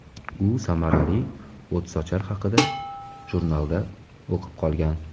U samarali o‘tsochar haqida jurnalda o‘qib qolgan.